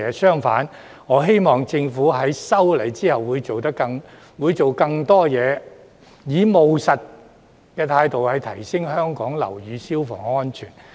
相反，我希望政府在修例後會做得更多，以務實的態度提升香港樓宇消防安全。